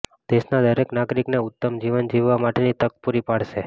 દેશના દરેક નાગરિકને ઉત્તમ જીવન જીવવા માટેની તક પૂરી પાડશે